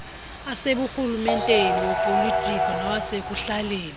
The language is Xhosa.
aseburhumenteni awopolitiko nawasekuhlaleni